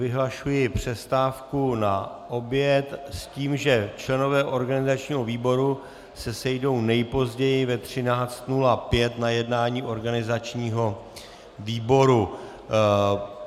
Vyhlašuji přestávku na oběd s tím, že členové organizačního výboru se sejdou nejpozději ve 13.05 na jednání organizačního výboru.